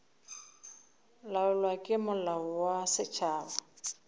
laolwa ke molao wa setšhaba